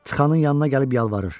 Txananın yanına gəlib yalvarır.